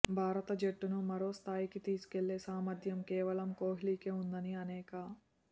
భారత జట్టును మరో స్థాయికి తీసుకెళ్లే సామర్థ్యం కేవలం కోహ్లీకే ఉందని అనేక